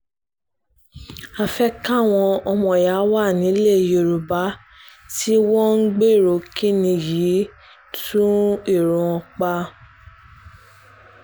a fẹ́ káwọn ọmọọ̀yà wà nílẹ̀ yorùbá tí wọ́n ń gbèrò kínní yìí tún èrò wọn pa o